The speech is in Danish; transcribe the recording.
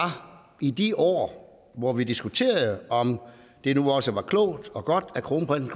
i de år hvor vi diskuterede om det nu også var klogt og godt at kronprinsen